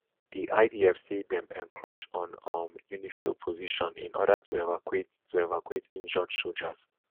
di idf say dem encroach on um unifil position in order to evacuate to evacuate injured sojas